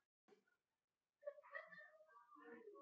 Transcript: Þeir bönnuðu Íslendingum þar að auki að versla við hann.